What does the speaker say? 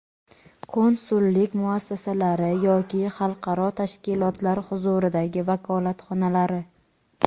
konsullik muassasalari yoki xalqaro tashkilotlar huzuridagi vakolatxonalari;.